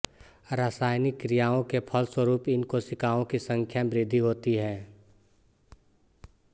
रासायनिक क्रियाओं के फलस्वरूप इन कोशिकाओं की संख्या में वृद्धि होती है